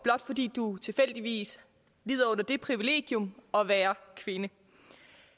blot fordi du tilfældigvis lider under det privilegium at være kvinde